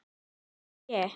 Hvar er ég?